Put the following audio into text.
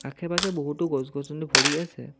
আশে পাশে বহুতো গছ গছনি ভৰি আছে।